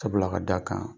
Sabula ka d'a kan